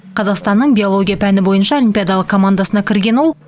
қазақстанның биология пәні бойынша олимпиадалық командасына кірген ол